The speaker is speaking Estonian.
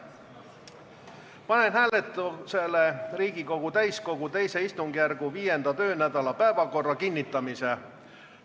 Panen hääletusele Riigikogu täiskogu II istungjärgu 5. töönädala päevakorra kinnitamise.